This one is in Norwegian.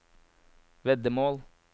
veddemål